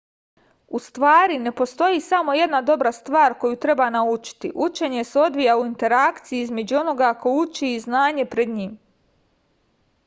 u stvari ne postoji samo jedna dobra stvar koju treba naučiti učenje se odvija u interakciji između onoga ko uči i znanja pred njim